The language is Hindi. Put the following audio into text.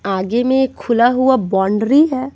आगे में एक खुला हुआ बाउंड्री है।